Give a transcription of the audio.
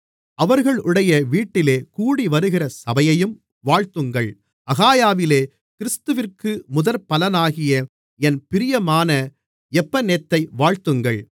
அவர்களுடைய வீட்டிலே கூடிவருகிற சபையையும் வாழ்த்துங்கள் அகாயாவிலே கிறிஸ்துவிற்கு முதற்பலனாகிய என் பிரியமான எப்பனெத்தை வாழ்த்துங்கள்